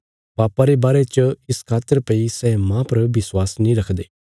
पापा रे बारे च इस खातर भई सै माह पर विश्वास नीं रखदे